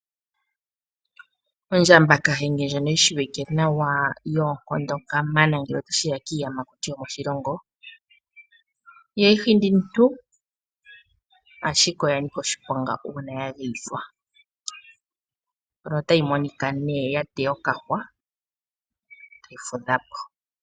Ondjamba kahenge ndjono yi shiwike nawa, yoonkondo kamana ngele ota shi ya kiiyamakuti yomoshilongo . Ihayi hindi omuntu, ashike oyanika oshiponga uuna ya geyithwa. Mpono otayi monika nee ya teya okahwa, tayi fudha po.